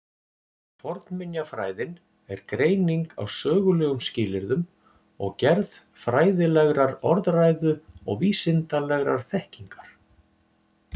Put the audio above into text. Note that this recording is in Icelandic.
Fornminjafræðin er greining á sögulegum skilyrðum og gerð fræðilegrar orðræðu og vísindalegrar þekkingar.